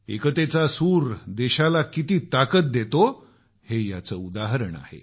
एकतेचा सूर देशाला किती ताकद देतो हे याचं उदाहरण आहे